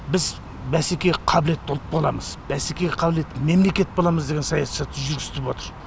біз бәсекеге қабілетті ұлт боламыз бәсекеге қабілетті мемлекет боламыз деген саясатты жүргізтіп отыр